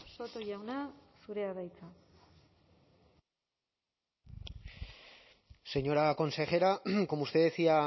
soto jauna zurea da hitza señora consejera como usted decía